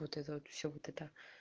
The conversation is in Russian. вот это вот все вот это